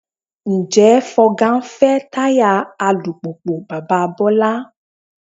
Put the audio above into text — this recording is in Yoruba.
Ǹjẹ́ Fọga ń fẹ́ táyà alùpùpù bàbá Bọ́lá?